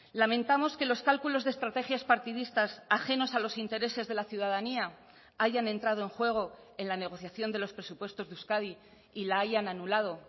lamentamos que los cálculos de estrategias partidistas ajenos a los intereses de la ciudadanía hayan entrado en juego en la negociación de los presupuestos de euskadi y la hayan anulado